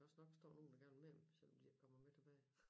Der skal også nok stå nogen der vil blive selvom de ikke kommer med tilbage